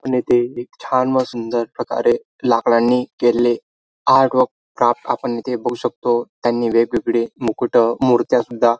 आपण येथे एक छान व सुंदर प्रकारे लाकडाने केलेले आर्ट व क्राफ्ट आपण येथे बघू शकतो त्यांनी वेगवेगळे मुकुट मुरत्या सुद्धा--